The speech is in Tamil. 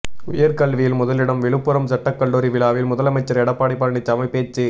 உயர்கல்வியில் முதலிடம் விழுப்புரம் சட்டக்கல்லூரி விழாவில் முதலமைச்சர் எடப்பாடி பழனிசாமி பேச்சு